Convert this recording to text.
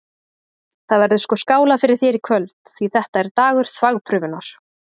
Það verður sko skálað fyrir þér í kvöld, því þetta er dagur þvagprufunnar!